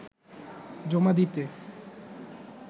জমা দিতে